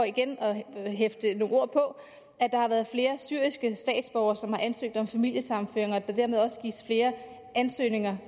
igen for at hæfte nogle ord på at der har været flere syriske statsborgere som har ansøgt om familiesammenføring og at der dermed også gives flere